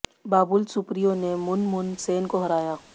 बाबुल सुप्रियो ने मुन मुन सेन को हराया